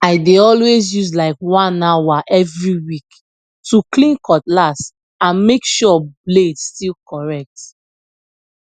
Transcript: i dey always use like one hour every week to clean cutlass and make sure blade still correct